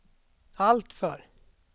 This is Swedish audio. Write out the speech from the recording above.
alltför